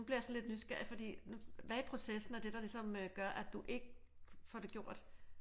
Nu bliver jeg sådan lidt nysgerrig fordi hvad i processen er det der ligesom gør at du ikke får det gjort?